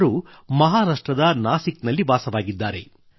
ಇವರು ಮಹಾರಾಷ್ಟ್ರದ ನಾಸಿಕ್ ನಲ್ಲಿ ವಾಸವಾಗಿದ್ದಾರೆ